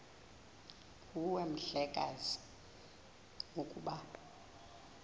nguwe mhlekazi ukuba